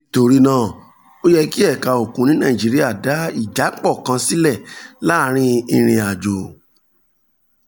nítorí náà ó yẹ kí ẹ̀ka òkun ní nàìjíríà dá ìjápọ̀ kan sílẹ̀ láàárín ìrìn àjò